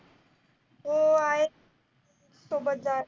हो आहेत. सोबत